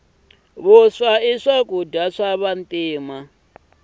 vuswa i swava ntima